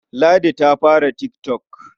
Ladi ta fara tik tok.